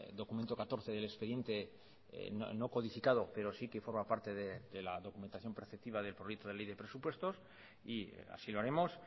documento catorce del expediente no codificado pero sí que forma parte de la documentación preceptiva del proyecto de ley de presupuestos y así lo haremos